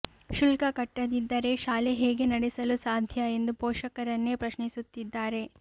ಶುಲ್ಕ ಕಟ್ಟದಿದ್ದರೆ ಶಾಲೆ ಹೇಗೆ ನಡೆಸಲು ಸಾಧ್ಯ ಎಂದು ಪೋಷಕರನ್ನೇ ಪ್ರಶ್ನಿಸುತ್ತಿದ್ದಾರೆ